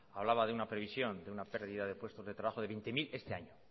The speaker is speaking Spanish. hablaba de una previsión de una pérdida de puestos de trabajo de veinte mil este año